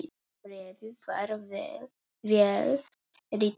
Bréfið var vel ritað.